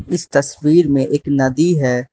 इस तस्वीर में एक नदी है।